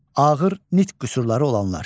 Ağır nitq qüsurları olanlar.